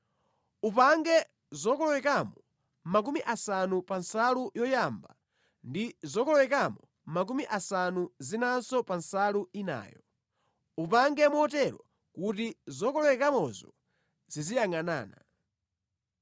Upange zokolowekamo 50 pa nsalu yoyamba ndi zokolowekamo makumi asanu zinanso pa nsalu inayo. Upange motero kuti zokolowekamozo ziziyangʼanana.